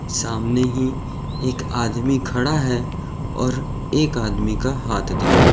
सामने ही एक आदमी खड़ा है और एक आदमी का हाथ दिख रहा है।